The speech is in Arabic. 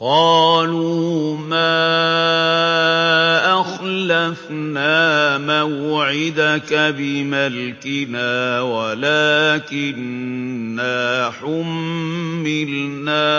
قَالُوا مَا أَخْلَفْنَا مَوْعِدَكَ بِمَلْكِنَا وَلَٰكِنَّا حُمِّلْنَا